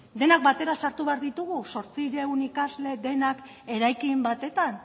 denak batera sartu behar ditugu zortziehun ikasle denak eraikin batetan